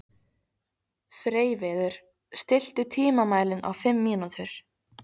Freyviður, stilltu tímamælinn á fimm mínútur.